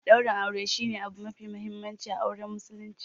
Daurin aure shi ne abu mafi mahimmanci a auren Muslunci.